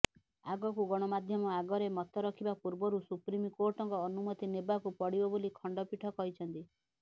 ଆଗକୁ ଗଣମାଧ୍ୟମ ଆଗରେ ମତ ରଖିବା ପୂର୍ବରୁ ସୁପ୍ରିମକୋର୍ଟଙ୍କ ଅନୁମତି ନେବାକୁ ପଡ଼ିବ ବୋଲି ଖଣ୍ଡପୀଠ କହିଛନ୍ତି